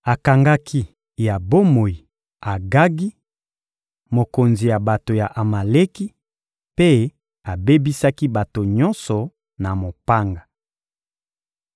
Akangaki ya bomoi Agagi, mokonzi ya bato ya Amaleki, mpe abebisaki bato nyonso na mopanga.